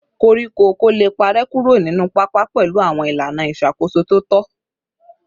Koríko ọ̀kọ̀ lè parẹ́ kúrò nínú pápá pẹ̀lú àwọn ìlànà ìṣàkóso tó tọ́